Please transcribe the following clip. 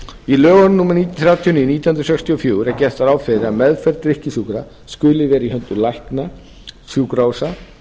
í lögun um númer þrjátíu og níu nítján hundruð sextíu og fjögur er gert ráð fyrir að meðferð drykkjusjúkra skuli vera í höndum lækna sjúkrahúsa